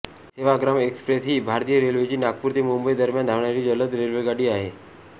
Sevagram express ही भारतीय रेल्वेची नागपूर ते मुंबई दरम्यान धावणारी जलद रेल्वेगाडी आहे